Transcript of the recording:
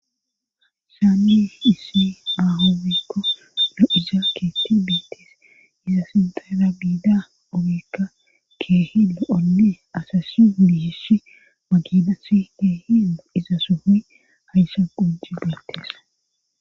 Saammi isi maahowikko ado7iza keetti biites iza sintara giida ogikka keehio7onne asasiulihishi maginasi keehin iza suhi hayssa gujji beetteesa